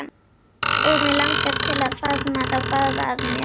Og mig langar til að faðma þá báða að mér.